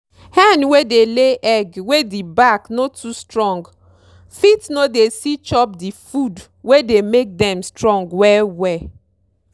hen wey dey lay egg wey di back no too strong fit no dey see chop di food wey dey make dem strong well well.